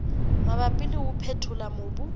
mabapi le ho phethola mobu